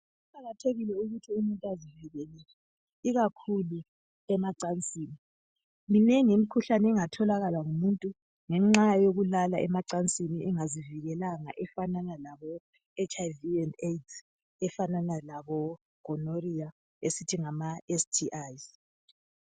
Kuqakathekile ukuthi umuntu azivikele ikakhulu emacansini. Minengi imikhuhlane engatholwa ngumuntu ngenxa yokulala emacansini engazivikelanga efanana laboHIV and AIDS lefanana labogonorrhea esithi ngamaSTIs.